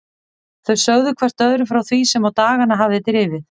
Þau sögðu hvert öðru frá því sem á dagana hafði drifið.